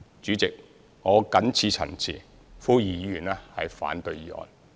主席，我謹此陳辭，呼籲議員反對議案。